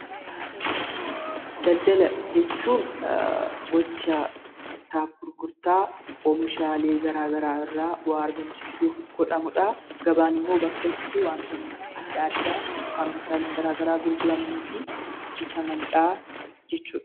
Daldala jechuun gochaa bittaaf gurgurtaa oomishaalee garaa garaa irraa bu'aa argamsiisuuf godhamudhaa. Gabaan immoo bakka itti wantoonni adda addaa kan oomishaaleen gara garaa gurguramanii fi bitamanidhaa jechuudha.